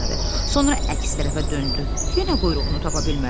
Sonra əks tərəfə döndü, yenə quyruğunu tapa bilmədi.